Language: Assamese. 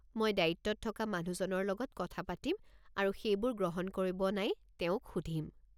মই দায়িত্বত থকা মানুহজনৰ লগত কথা পাতিম আৰু সেইবোৰ গ্ৰহণ কৰিব নাই তেওঁক সুধিম।